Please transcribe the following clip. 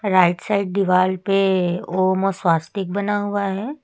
Right side दीवाल पे ओम स्वस्तिक बना हुआ है।